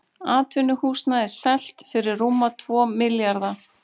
Atvinnuhúsnæði selt fyrir rúma tvo milljarða